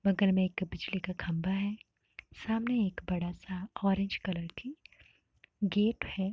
बगल में एक बिजली का खंभा है। सामने एक बड़ा सा ऑरेंज कलर की गेट है।